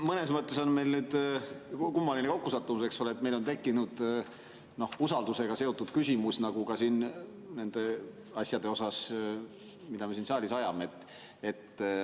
Mõnes mõttes on meil nüüd kummaline kokkusattumus, eks ole, et meil on tekkinud usaldusega seotud küsimus ka nende asjade kohta, mida me siin saalis ajame.